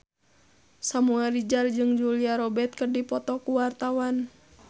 Samuel Rizal jeung Julia Robert keur dipoto ku wartawan